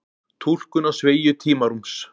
túlkun á sveigju tímarúms